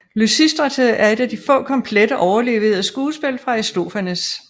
Lysistrate er et af de få komplette overleverede skuespil af Aristofanes